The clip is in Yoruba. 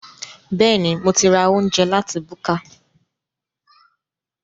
Bẹ́ẹ̀ni, mo ti ra oúnjẹ láti búkà